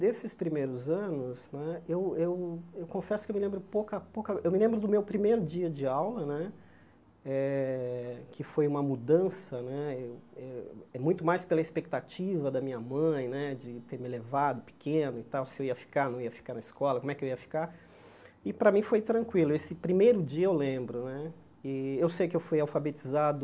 Desses primeiros anos né, eu eu eu confesso que eu me lembro pouca pouca, eu me lembro do meu primeiro dia de aula né, eh que foi uma mudança né eu eu, muito mais pela expectativa da minha mãe, de ter me levado pequeno e tal, se eu ia ficar ou não ia ficar na escola, como é que eu ia ficar, e para mim foi tranquilo, esse primeiro dia eu lembro né, e eu sei que eu fui alfabetizado